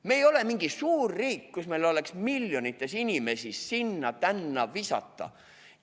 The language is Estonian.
Me ei ole mingi suur riik, kus meil oleks miljonites inimesi sinna-tänna visata.